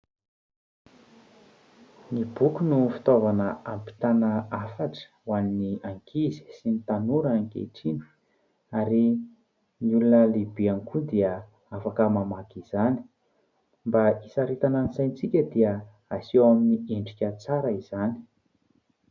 Ny boky no fitaovana ampitana hafatra ho an'ny ankizy sy tanora ankehitriny ary ny olona lehibe ihany koa dia afaka mamaky izany. Mba hisaritana ny saintsika dia aseho amin'ny endrika tsara izany.